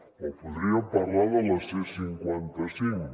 o podríem parlar de la c cinquanta cinc